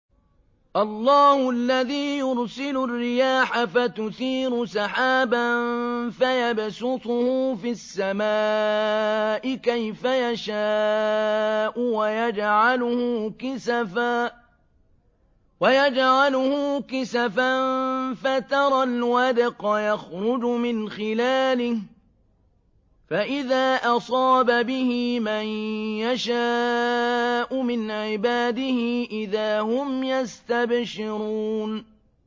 اللَّهُ الَّذِي يُرْسِلُ الرِّيَاحَ فَتُثِيرُ سَحَابًا فَيَبْسُطُهُ فِي السَّمَاءِ كَيْفَ يَشَاءُ وَيَجْعَلُهُ كِسَفًا فَتَرَى الْوَدْقَ يَخْرُجُ مِنْ خِلَالِهِ ۖ فَإِذَا أَصَابَ بِهِ مَن يَشَاءُ مِنْ عِبَادِهِ إِذَا هُمْ يَسْتَبْشِرُونَ